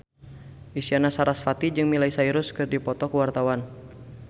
Isyana Sarasvati jeung Miley Cyrus keur dipoto ku wartawan